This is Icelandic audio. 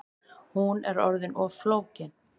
Hún er orðin of flókin